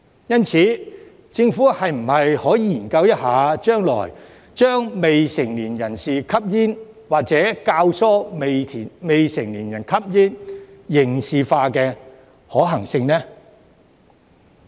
因此，政府將來是否可以研究將未成年人士吸煙，或者教唆未成年人士吸煙刑事化的可行性呢？